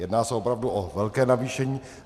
Jedná se opravdu o velké navýšení.